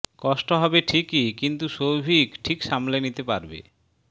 কষ্ট হবে ঠিকই কিন্তু সৌভিক ঠিক সামলে নিতে পারবে